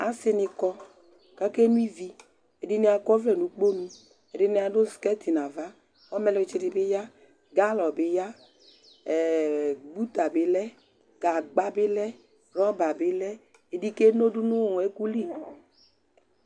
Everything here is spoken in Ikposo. asi ni kɔ kake nʋivi, ɛdini akɔ ɔvlɛ nu ukponu, ɛdini adu sikɛti nu ava, ɔmɛlutsi di bi ya , galɔ bi ya ,ɛɛɛ, buta bi lɛ , gagba bi lɛ, rɔba bi lɛ, ɛdi keno du nu ɛku li